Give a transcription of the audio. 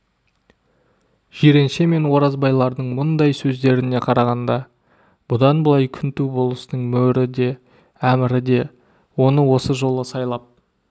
жиренше мен оразбайлардың мұндай сөздеріне қарағанда бұдан былай күнту болыстың мөрі де әмірі де оны осы жолы сайлап